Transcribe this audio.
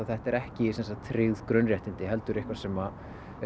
þetta eru ekki tryggð grunnréttindi heldur eitthvað sem